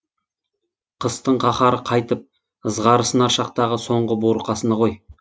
қыстың қаһары қайтып ызғары сынар шақтағы соңғы буырқанысы ғой